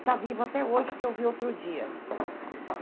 Está vivo até hoje, porque eu vi outro dia.